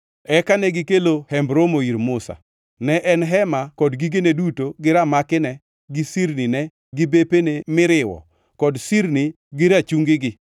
Eka negikelo hemb romono ir Musa: Ne en hema kod gigene duto gi ramakine gi sirnine gi bepene miriwo kod sirni gi rachungigi;